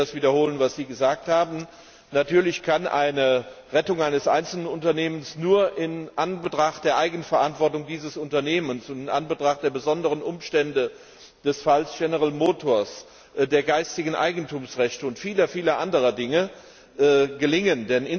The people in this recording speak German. Ich will das wiederholen, was Sie gesagt haben Natürlich kann die Rettung eines einzelnen Unternehmens nur in Anbetracht der Eigenverantwortung dieses Unternehmens und in Anbetracht der besonderen Umstände des Falls General Motors sowie der geistigen Eigentumsrechte und vieler anderer Dinge gelingen.